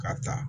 Ka ta